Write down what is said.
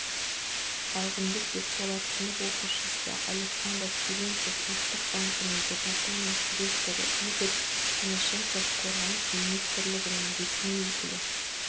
балғынбек бекболат сынып оқушысы александр терентьев ұлттық банкінің департамент директоры игорь конашенков қорғаныс министрлігінің ресми өкілі